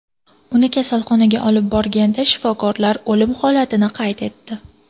Uni kasalxonaga olib borishganda, shifokorlar o‘lim holatini qayd etdi.